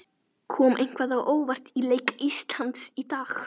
Kom eitthvað á óvart í leik Íslands í dag?